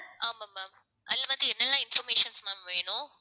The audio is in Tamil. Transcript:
ஆமா ma'am, அதுல வந்து என்னெல்லாம் informations ma'am வேணும்.